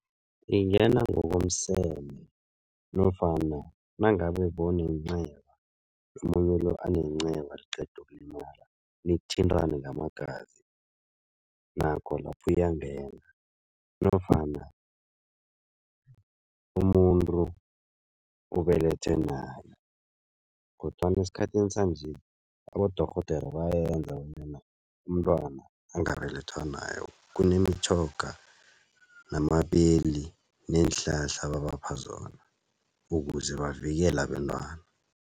Ingena ngokomseme nofana nangabe bewunenceba, omunye lo anenceba liqeda ukulimala nithintane ngamagazi, nakho lapho iyangena nofana umuntu ubelethwa nayo kodwana esikhathini sanje abodorhodera bayayenza bona umntwana angabelethwa nayo kunemitjhoga, namapeli neenhlahla ababapha zona ukuze bavikele abentwana.